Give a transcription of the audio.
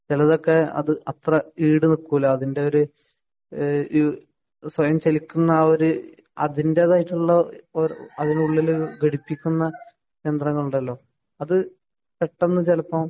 ചെലതൊക്കെ അത് അത്ര ഈട് നിക്കൂല അതിൻ്റെ ഒരു ഈഹ് ഈഹ് സ്വയം ചലിക്കുന്ന ആ ഒരു അതിന്റേതായിട്ടുള്ള അതിനുള്ളില് ഘടിപ്പിക്കുന്ന യന്ത്രങ്ങളുണ്ടല്ലോ അത് പെട്ടന്ന് ചെലപ്പോ